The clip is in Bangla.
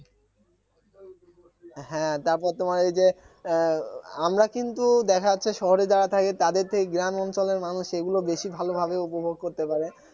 হ্যাঁ তারপর তোমার ঐযে আহ আমরা কিন্তু দেখা যাচ্ছে শহরে যারা থাকে তাদের থেকে গ্রাম অঞ্চলের মানুষ এগুলো বেশি ভালোভাবে উপভোগ করতে পারে